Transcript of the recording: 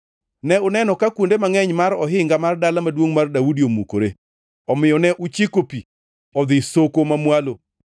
Ne uneno ka kuonde mangʼeny mar ohinga mar Dala Maduongʼ mar Daudi omukore, omiyo ne uchiko pi odhi e soko mamwalo.